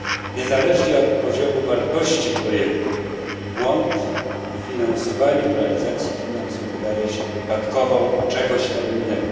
Niezależnie od poziomu wartości projektu błąd w finansowaniu, w realizacji finansów, wydaje się wypadkową czegoś tam innego.